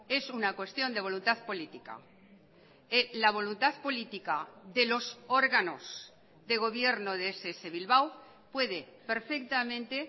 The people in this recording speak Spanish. es una cuestión de voluntad política la voluntad política de los órganos de gobierno de ess bilbao puede perfectamente